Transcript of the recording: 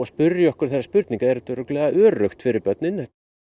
spyrja okkur þeirra spurningar er þetta örugglega örugg fyrir börnin